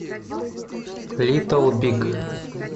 литл биг